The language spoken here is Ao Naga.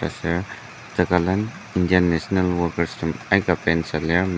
taser tekalen indian national workers tem aika paint süa lir.